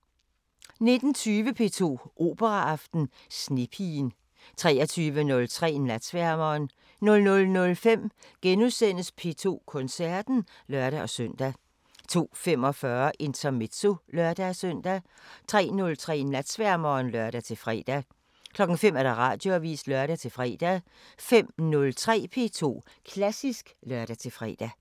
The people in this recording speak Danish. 19:20: P2 Operaaften: Snepigen 23:03: Natsværmeren 00:05: P2 Koncerten *(lør-søn) 02:45: Intermezzo (lør-søn) 03:03: Natsværmeren (lør-fre) 05:00: Radioavisen (lør-fre) 05:03: P2 Klassisk (lør-fre)